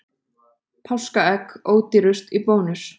Páskaegg ódýrust í Bónus